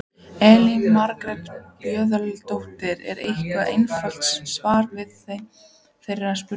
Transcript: Elín Margrét Böðvarsdóttir: Er eitthvað einfalt svar við þeirri spurningu?